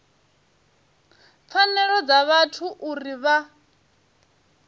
pfanelo dza vhathu uri vha